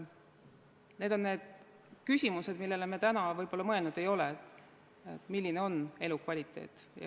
Need on need küsimused, millele me võib-olla mõelnud ei ole, milline on elukvaliteet.